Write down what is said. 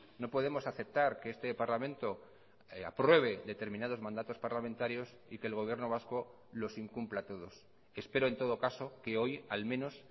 no podemos aceptar que este parlamento apruebe determinados mandatos parlamentarios y que el gobierno vasco los incumpla todos espero en todo caso que hoy al menos